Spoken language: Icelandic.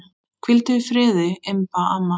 Hvíldu í friði, Imba amma.